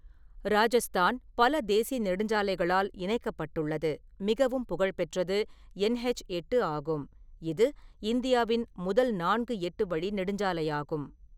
ராஜஸ்தான் பல தேசிய நெடுஞ்சாலைகளால் இணைக்கப்பட்டுள்ளது, மிகவும் புகழ்பெற்றது என்ஹெச் எட்டு ஆகும், இது இந்தியாவின் முதல் நான்கு எட்டு வழி நெடுஞ்சாலையாகும்.